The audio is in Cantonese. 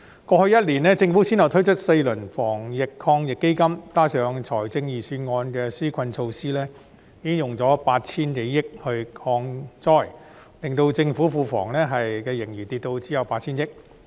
過去1年，政府先後推出4輪防疫抗疫基金，加上財政預算案的紓困措施，已經用了 8,000 多億元抗災，令政府庫房盈餘減少至只有 8,000 億元。